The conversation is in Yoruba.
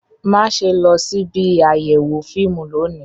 Má ṣe lọ síbi àyẹ̀wò fíìmù lónìí